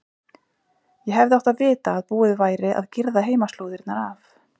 Ég hefði átt að vita að búið væri að girða heimaslóðirnar af.